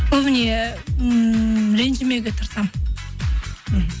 көбіне ммм ренжімеуге тырысамын мхм